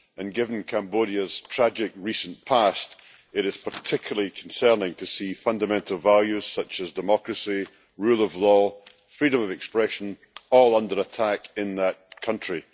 Given Cambodia's tragic recent past, it is particularly concerning to see fundamental values such as democracy, the rule of law and freedom of expression all under attack in that country.